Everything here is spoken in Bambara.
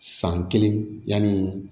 San kelen yani